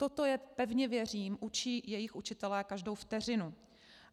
Toto je, pevně věřím, učí jejich učitelé každou vteřinu.